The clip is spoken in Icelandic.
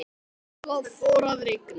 Svo fór að rigna.